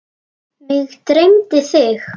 Mig dreymdi þig.